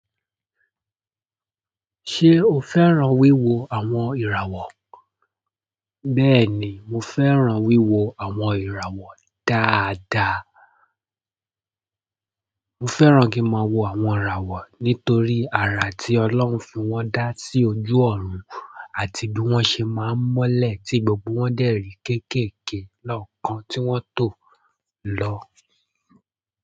Ṣé o fẹ́ràn wíwo àwọn ìràwọ̀? Bẹ́ẹ̀ ni, mo fẹ́ràn wíwo àwọn ìràwọ̀ dáadáa. Mo fẹ́ràn kí máa wo àwọn ìràwọ̀ nítorí àrà tí Ọlọ́run fi wọ́n dá sí ojú ọ̀run àti bí wọ́n ṣe máa ń mọ́lẹ̀ tí gbogbo wọn dẹ́rì kéékèèké lọ́kàn tí wọ́n tò lọ.